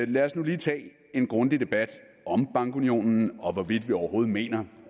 lad os nu lige tage en grundig debat om bankunionen og om hvorvidt vi overhovedet mener